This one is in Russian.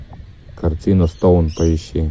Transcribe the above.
картина стоун поищи